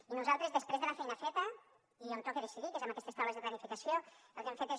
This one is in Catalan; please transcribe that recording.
i nosaltres després de la feina feta i on toca decidir que és en aquestes taules de planificació el que hem fet és